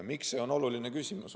Miks on see oluline küsimus?